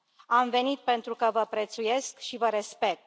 Am venit pentru că vă prețuiesc și vă respect.